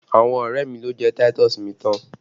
Àwọn ọrẹ mi lo jẹ táítọ̀sì mi tán!